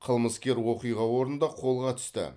қылмыскер оқиға орнында қолға түсті